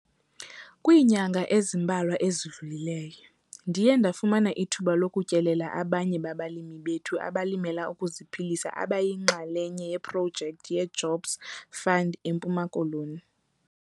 Kwiinyanga ezimbalwa ezidlulileyo, ndiye ndafumana ithuba lokutyelela abanye babalimi bethu abalimela ukuziphilisa abayinxalenye yeprojekthi yeJobs Fund eMpuma Koloni.